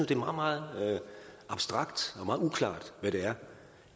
det er meget meget abstrakt og meget uklart hvad det er